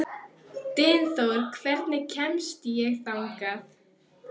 Dynþór, hvernig kemst ég þangað?